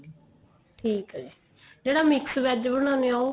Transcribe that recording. ਠੀਕ ਏ ਜੀ ਜਿਹੜਾ mix VEG ਬਣਾਂਦੇ ਆ ਉਹ